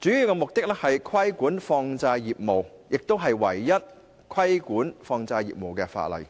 主要目的是規管放債業務，亦是唯一規管放債業務的法例。